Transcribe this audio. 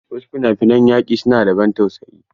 Wasu fina-finan yaki su na da ban tausayi.